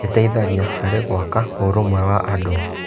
Gĩteithagia harĩ gwaka ũrũmwe wa andũ.